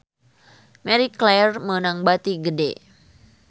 Marie Claire meunang bati gede